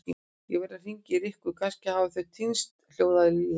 Ég verð að hringja í Rikku, kannski hafa þau týnst hljóðaði Lilla.